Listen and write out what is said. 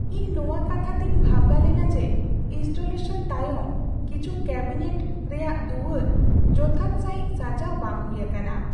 ᱤᱧ ᱱᱚᱣᱟ ᱠᱟᱛᱷᱟ ᱛᱮᱧ ᱵᱷᱟᱵᱱᱟ ᱞᱮᱱᱟ ᱡᱮ ᱤᱱᱥᱴᱚᱞᱮᱥᱚᱱ ᱛᱟᱭᱚᱢ ᱠᱤᱪᱷᱩ ᱠᱮᱵᱤᱱᱮᱴ ᱨᱮᱭᱟᱜ ᱫᱩᱣᱟᱹᱨ ᱡᱚᱛᱷᱟᱛ ᱥᱟᱹᱦᱤᱡ ᱥᱟᱡᱟᱣ ᱵᱟᱝ ᱦᱩᱭ ᱟᱠᱟᱱᱟ ᱾